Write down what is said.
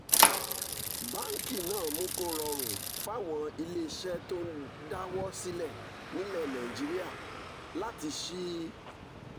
báńkì náà mú kó rọrùn fáwọn ilé iṣẹ́ tó ń dáwọ́ sílẹ̀ nílẹ̀ nàìjíríà láti ṣí